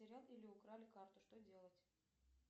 или украли карту что делать